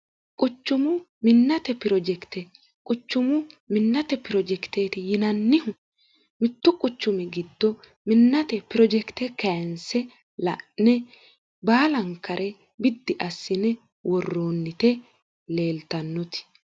quchumu minnate pirojekite quchumu minnate pirojekiteeti yinannihu mittu quchumi giddo minnate pirojekite keense la'ne baalankare biddi assine worroonnite leeltannoti